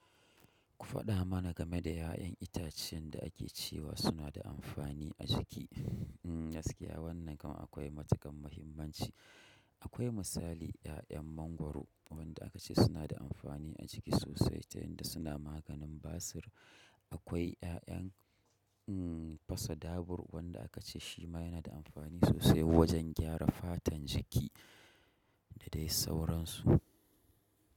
Ku faɗa mana game da ƴaƴan itacen da ake cewa suna da amfani a jiki. Gaskiya wannan kan akwai matuƙar mahimmanci. Akwai misali ƴaƴan mangwaro wanda aka ce suna da amfani a jiki sosai ta yanda suna maganin basir. Akwai ƴaƴan fasa dabur wanda aka ce shi ma yana da amfani sosai wajen gyara fatan jiki da dai sauransu.